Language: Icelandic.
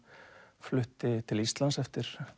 flutti til Íslands eftir